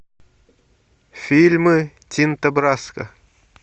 фильмы тинто брасса